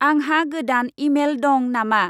आंहा गोदान इमेल दं नामा?